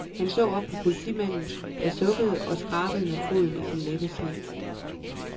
Han så op på politimanden, der sukkede og skrabede med foden i den lette sne.